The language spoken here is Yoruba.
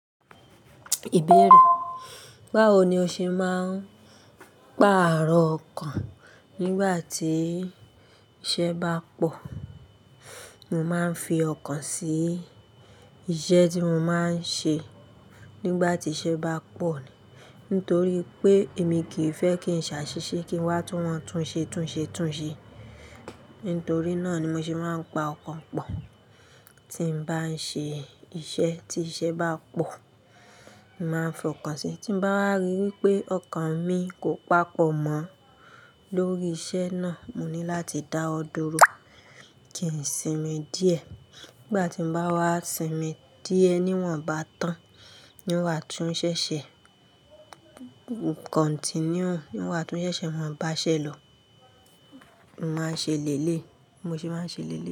Ìbéèrè. Báwo ni o ṣe máa ń pa ààrọ̀ ọkàn nígbà tí iṣẹ́ bá pọ̀? Mo máa ń fi ọkàn sí iṣẹ́ tí mo máa ń ṣe nígbà tí iṣẹ́ bá pọ̀, nítorí pé èmi kì í fẹ́ kí n ṣàṣìṣe, kí n wá tún máa tún ṣe, tún ṣe, tún ṣe. Nítorí náà ni mo ṣe máa ń pa ọkàn pọ̀ tí n bá ń ṣe iṣẹ́ tí iṣẹ́ bá pọ̀. Mo máa ń fi ọkàn sí i, tí mo bá rí wí pé ọkàn mi kò pàpọ̀ mọ́ lórí iṣẹ́ náà, mo ní láti dá ọ dúró kí n sinmi díẹ̀. Nígbà tí mo bá wá sinmi díẹ̀, ní wọ́n bá tán, ní wá tún ṣẹ̀ṣẹ̀ continue, ní wá tún ṣẹ̀ṣẹ̀ wọ́n bá ṣẹ lọ, mo máa ṣe lé lè, mo ṣe máa ṣe lé lè.